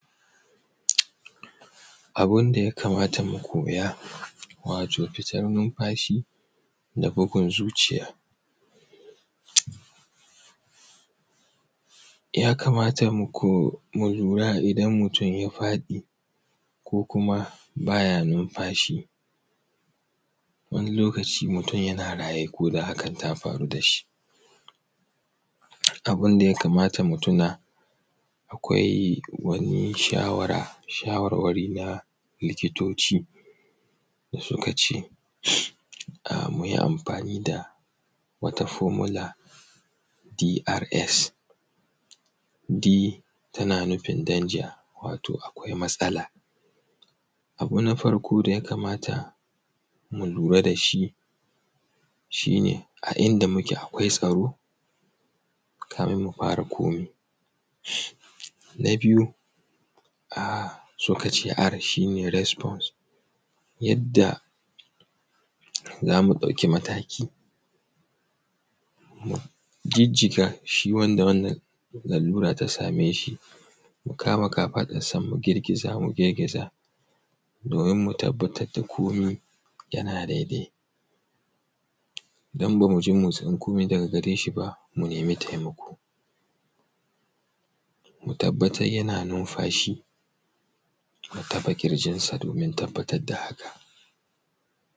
Abun da ya kamata mu koya, wato fitar numfashi da bugun zuciya. Ya kamata mu ko mu lura idan mutum ya fadi ko kuma baya nunafashi. Wani lokaci mutum yana raye koda hakan ta faru da shi, abunda ya kamata mu tuna, akwai wani shawara, shawarwari na likitoci, suka ce ka mu yi amafani da wata fomula "drs D", ta nufin danja, wato akwai matsala. Abu na farko da ya kamata mu lura da shi shi ne a inda muke, akwai tsaro kafun mu fara, mu fara komi na biyu. Suka ce "R" shi ne resfons, yadda za mu ɗauki mataki, mu jijjiga wanda shi wannan lalura ta same shi, mu kama kafaɗansa, mu girgiza domin mu tabbatar da komi yana dai-dai. Idan ba mu ji motishin komai daga gare shi ba, mu nemi taimako, mu tabbatar yana nunfashi, mu taɓa ƙirjin domin mu tabbatar da haka.